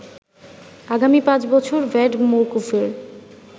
আগামী ৫ বছর ভ্যাট মওকুফের